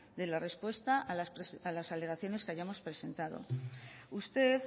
de la respuesta a las alegaciones que hayamos presentado usted